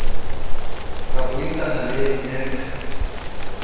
ka bui sana le mec